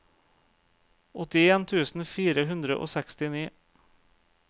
åttien tusen fire hundre og sekstini